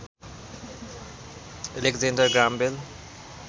Alexander Graham bell